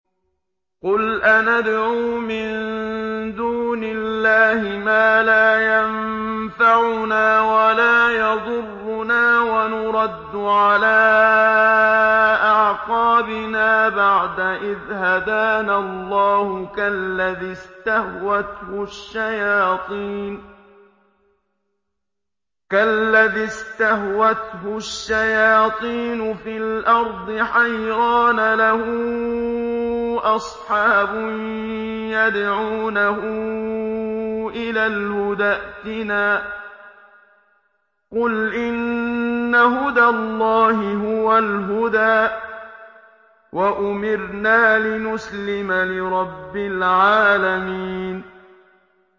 قُلْ أَنَدْعُو مِن دُونِ اللَّهِ مَا لَا يَنفَعُنَا وَلَا يَضُرُّنَا وَنُرَدُّ عَلَىٰ أَعْقَابِنَا بَعْدَ إِذْ هَدَانَا اللَّهُ كَالَّذِي اسْتَهْوَتْهُ الشَّيَاطِينُ فِي الْأَرْضِ حَيْرَانَ لَهُ أَصْحَابٌ يَدْعُونَهُ إِلَى الْهُدَى ائْتِنَا ۗ قُلْ إِنَّ هُدَى اللَّهِ هُوَ الْهُدَىٰ ۖ وَأُمِرْنَا لِنُسْلِمَ لِرَبِّ الْعَالَمِينَ